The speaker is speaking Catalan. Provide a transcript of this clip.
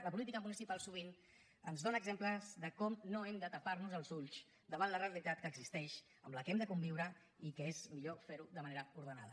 la política municipal sovint ens dóna exemples de com no hem de tapar nos els ulls davant la realitat que existeix amb la qual hem de conviure i que és millor ferho de manera ordenada